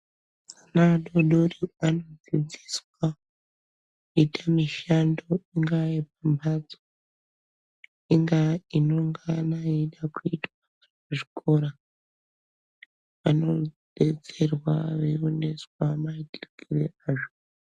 Ana adodori anodzidziiswa, kuite mishando, ingaa yemumhatso, ingaa inongana yeida kuitwa muzvikora, vanodetserwa veioneswa naitikire azvo.